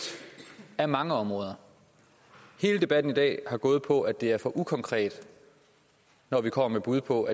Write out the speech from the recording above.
af mange områder hele debatten i dag har gået på at det er for ukonkret når vi kommer med bud på